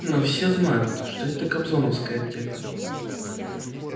но все знают что это кобзоновская аптека